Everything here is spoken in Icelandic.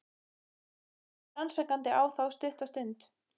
Hemmi horfir rannsakandi á þá stutta stund.